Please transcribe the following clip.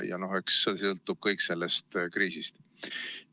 Eks kõik sõltub sellest kriisist.